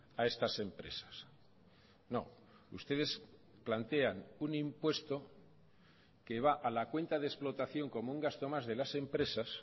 a estas empresas no ustedes plantean un impuesto que va a la cuenta de explotación como un gasto más de las empresas